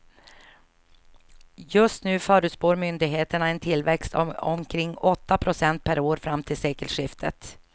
Just nu förutspår myndigheterna en tillväxt av omkring åtta procent per år fram till sekelskiftet.